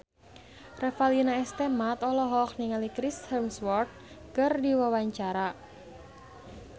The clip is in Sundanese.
Revalina S. Temat olohok ningali Chris Hemsworth keur diwawancara